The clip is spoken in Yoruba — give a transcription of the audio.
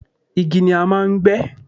igi ni a máà ń gbé